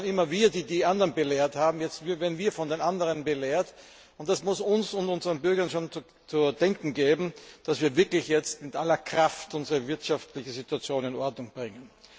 Früher waren immer wir diejenigen, die die anderen belehrt haben. Jetzt werden wir von den anderen belehrt, und das muss uns und unseren Bürgern schon zu denken geben, dass wir wirklich jetzt mit aller Kraft unsere wirtschaftliche Situation in Ordnung bringen.